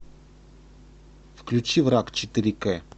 включи враг четыре к